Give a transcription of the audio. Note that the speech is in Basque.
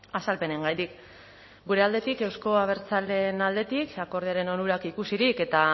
azalpenengatik gure aldetik euzko abertzaleen aldetik akordioaren onurak ikusirik eta